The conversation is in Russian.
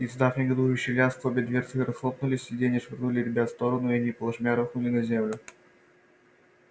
издав негодующий лязг обе дверцы распахнулись сиденья швырнули ребят в стороны и они плашмя рухнули на землю